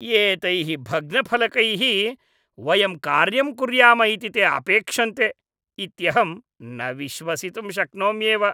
एतैः भग्नफलकैः वयं कार्यं कुर्याम इति ते अपेक्षन्ते इत्यहं न विश्वसितुं शक्नोम्येव।